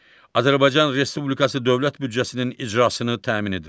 Azərbaycan Respublikası Dövlət büdcəsinin icrasını təmin edir.